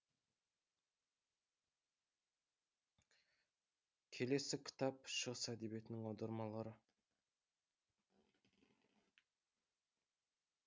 келесі кітап шығыс әдебиетінің аудармалары